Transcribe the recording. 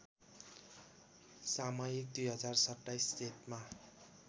सामयिक २०२७ जेठमा